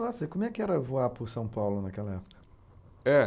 Nossa, e como é que era voar por São Paulo naquela época? É